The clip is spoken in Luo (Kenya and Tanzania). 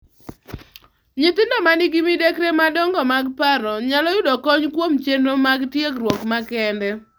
Nyithindo ma nigi midekre madongo mag paro nyalo yudo kony kuom chenro mag tiegruok makende.